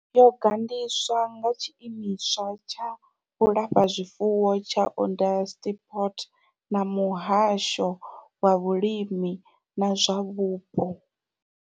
Yo gandiswa nga Tshiimiswa tsha Vhulafha zwifuwo tsha Onderstepoort na Muhasho wa Vhulimi na zwa Vhupo.